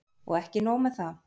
Og ekki nóg með það.